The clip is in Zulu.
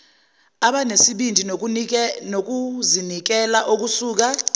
abanesibindi nokuzinikela okusuka